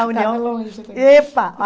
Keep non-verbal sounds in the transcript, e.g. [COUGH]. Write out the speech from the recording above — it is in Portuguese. A União... [UNINTELLIGIBLE] Epa!